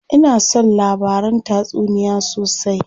Ina son labaran tatsuniya sosai.